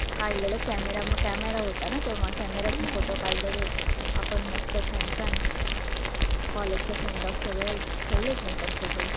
काढलेले camera camera होता ना तेव्हा camera तून photo काढलेले आपण मस्त छान छान college च्या sendoff च्या वेळेस ठेवलेत मी पण photo